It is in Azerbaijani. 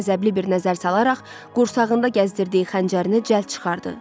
Müürə qəzəbli bir nəzər salaraq, qursağında gəzdirdiyi xəncərini cəld çıxardı.